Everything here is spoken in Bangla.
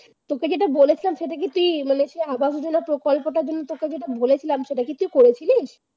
তোকে যেটা বলেছিলাম সেটা কি তুই মানে আগামী দিনে প্রকল্পটার জন্য তোকে যেটা বলেছিলাম সেটা কি তুই করেছিলি?